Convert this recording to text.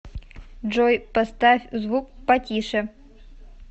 джой поставь звук потише